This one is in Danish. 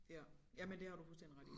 Ja ja men det har du fuldstændig ret i